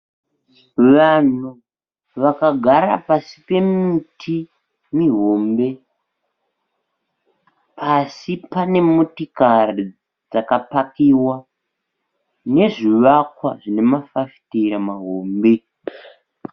Vanhu vakagara pasi pemiti mihombe. Pasi pane motokari dzakapakiwa nezvivakwa zvine mafafitera mahombe.